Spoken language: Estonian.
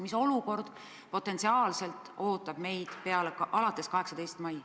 Mis olukord meid potentsiaalselt alates 18. maist ees ootab?